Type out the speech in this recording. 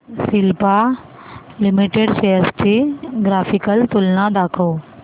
Cipla limited shares ची graphical तुलना दाखव